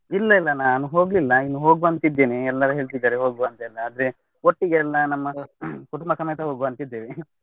ಇಲ್ಲಾ ಇಲ್ಲಾ ನನ್ ಹೋಗ್ಲಿಲ್ಲ. ಇನ್ನೂ ಹೋಗ್ವ ಅಂತ ಇದ್ದೇನೆ ಎಲ್ಲರೂ ಹೇಳ್ತಿದ್ದಾರೆ ಹೋಗ್ವ ಅಂತ ಎಲ್ಲಾ. ಆದ್ರೆ ಒಟ್ಟಿಗೆ ಎಲ್ಲಾ ನಮ್ಮ ಕುಟುಂಬ ಸಮೇತ ಹೋಗ್ವ ಅಂತ ಇದ್ದೇವೆ .